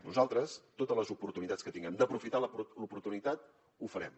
nosaltres totes les oportunitats que tinguem d’aprofitar l’oportunitat ho farem